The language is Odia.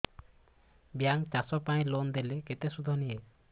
ବ୍ୟାଙ୍କ୍ ଚାଷ ପାଇଁ ଲୋନ୍ ଦେଲେ କେତେ ସୁଧ ନିଏ